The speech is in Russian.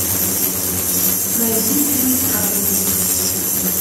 найди фильм праведник